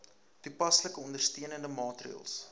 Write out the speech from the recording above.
toepaslike ondersteunende maatreëls